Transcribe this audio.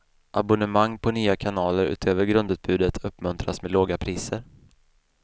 Abonnemang på nya kanaler utöver grundutbudet uppmuntras med låga priser.